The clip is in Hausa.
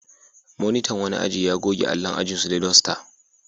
Monitan wani aji ya goge allon ajinsu da dasta.